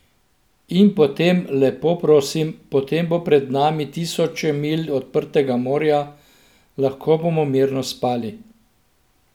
In potem, lepo prosim, potem bo pred nami tisoče milj odprtega morja, lahko bomo mirno spali.